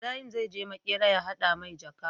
Ibarahim zai je makera ya hada mai jaka